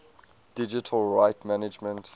digital rights management